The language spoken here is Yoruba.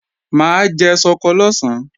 Mà á jẹ ṣọkọ lọ̀sán